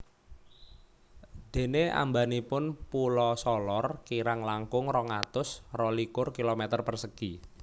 Dene ambanipun Pulo Solor kirang langkung rong atus rolikur kilometer persegi